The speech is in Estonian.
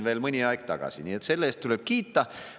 Nii et selle eest tuleb kiita.